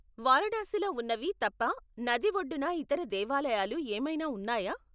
వారణాసిలో ఉన్నవి తప్ప నది ఒడ్డున ఇతర దేవాలయాలు ఏమైనా ఉన్నాయా?